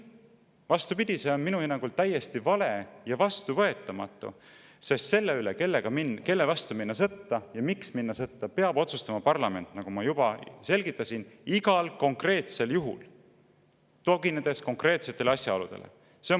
Vastupidi, see on minu hinnangul täiesti vale ja vastuvõetamatu, sest selle üle, kelle vastu minna sõtta ja miks minna sõtta, peab otsustama parlament, nagu ma juba selgitasin, igal konkreetsel juhul, tuginedes konkreetsetele asjaoludele.